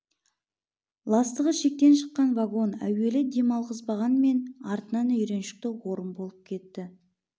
ластығы шектен шққан вагон әуелі дем алғызбағанмен артынан үйреншікті орын болып кетті